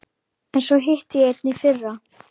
En svo hitti ég einn í fyrra.